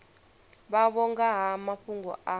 vhavho nga ha mafhungo a